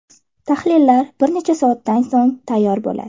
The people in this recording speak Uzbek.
Tahlillar bir necha soatdan so‘ng tayyor bo‘ladi.